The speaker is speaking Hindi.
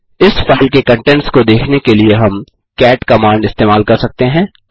इस फाइल के कंटेंट्स को देखने के लिए हम कैट कमांड इस्तेमाल कर सकते हैं